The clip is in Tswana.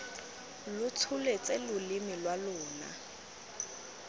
lo tsholetse loleme lwa lona